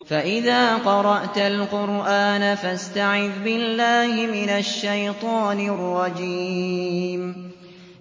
فَإِذَا قَرَأْتَ الْقُرْآنَ فَاسْتَعِذْ بِاللَّهِ مِنَ الشَّيْطَانِ الرَّجِيمِ